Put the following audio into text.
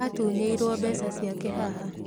Atunyĩirwo mbeca ciake haha